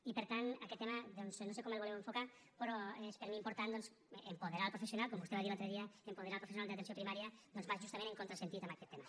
i per tant aquest tema doncs no sé com el voleu enfocar però és per mi important apoderar el professional com vostè va dir l’altre dia apoderar el professional d’atenció primària que va justament en contrasentit en aquest tema